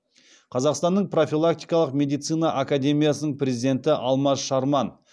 қазақстанның профилактикалық медицина академиясының президенті алмаз шарман